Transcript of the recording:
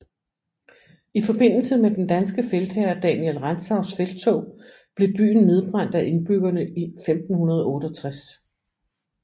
I forbindelse med den danske feltherre Daniel Rantzaus felttog blev byen nedbrændt af indbyggerne i 1568